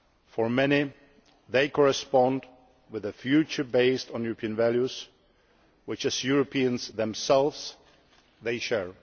For many, they correspond with a future based on European values which, as Europeans themselves, they share.